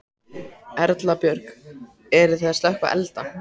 Erla Björg: Eruð þið að slökkva elda?